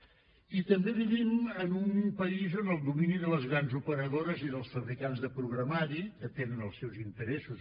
i també vivim en un país on el domini de les grans operadores i dels fabricants de programari que tenen els seus interessos